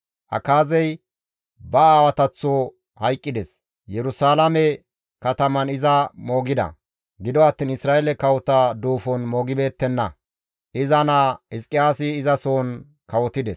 Akaazey ba aawataththo hayqqides; Yerusalaame kataman iza moogida; gido attiin Isra7eele kawota duufon moogettibeenna; iza naa Hizqiyaasi izasohon kawotides.